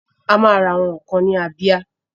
Ama ra àwọn ǹkan ni Abia.